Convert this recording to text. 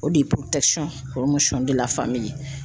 O de ye deli la faamuya.